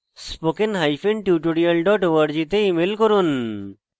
contact @spokentutorial org তে email করুন